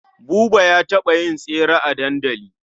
Buba ya taɓa yin tesre a dandali.